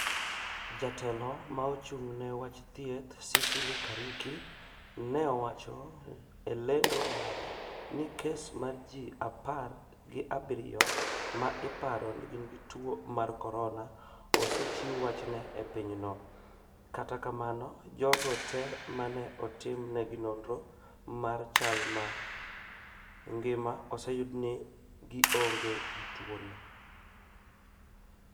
Jatelo ma ochung' ne wach thieth, Sicily Kariuki ne owacho e lendo mare ni kes mar ji apar gi abirio ma iparo ni gin gi tuo mar corona osechiw wachne e piny no, kata kamano jogo te mane otim ne gi nonro mar chal ma ngima oseyud ni gionge gi tuo no